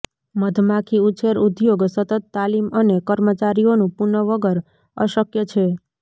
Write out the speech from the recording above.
મધમાખી ઉછેર ઉદ્યોગ સતત તાલીમ અને કર્મચારીઓનું પુન વગર અશક્ય છે